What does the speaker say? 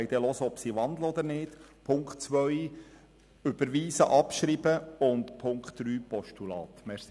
Wir wollen dann hören, ob die Motionäre wandeln oder nicht.